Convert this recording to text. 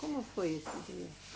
Como foi isso?